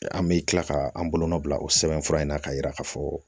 An bɛ tila ka an bolonɔ bila o sɛbɛn fura in na k'a yira k'a fɔ